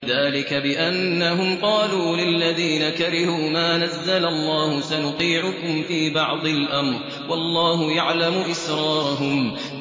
ذَٰلِكَ بِأَنَّهُمْ قَالُوا لِلَّذِينَ كَرِهُوا مَا نَزَّلَ اللَّهُ سَنُطِيعُكُمْ فِي بَعْضِ الْأَمْرِ ۖ وَاللَّهُ يَعْلَمُ إِسْرَارَهُمْ